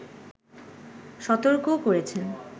সতর্কও করেছেন